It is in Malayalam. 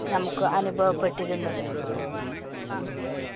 നമുക്ക് അനുഭവപ്പെട്ടിരുന്നത്‌.